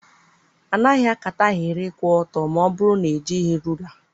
A naghị ákátá ahịrị kwụ ọtọ ma ọ bụrụ na ejighị rula.